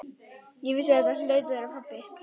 Ég vissi að þetta hlaut að vera pabbi.